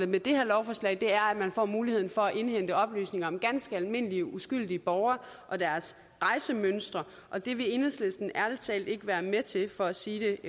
med det her lovforslag er at man får mulighed for at indhente oplysninger om ganske almindelige uskyldige borgere og deres rejsemønstre og det vil enhedslisten ærlig talt ikke være være til for at sige